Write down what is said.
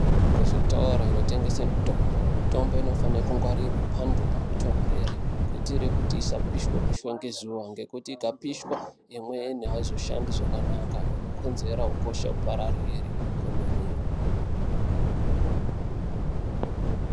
Kuzvitoro zvinotengeswa mitombo, mitombo inofana kungwarirwa pantu panotonhorera kuitira kuti isapiswa piswa ngezuwa kana ikapiswa piswa imweni haisoshandi zvakanaka inokonzera ukosha upararire kwemene.